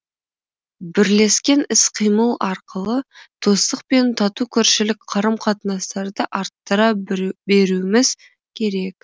бірлескен іс қимыл арқылы достық пен тату көршілік қарым қатынастарды арттыра беруіміз керек